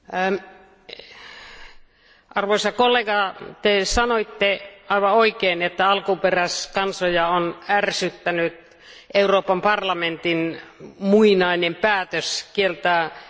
Arvoisa kollega, Te sanoitte aivan oikein, että alkuperäiskansoja on ärsyttänyt Euroopan parlamentin muinainen päätös kieltää hylkeennahkojen myynti.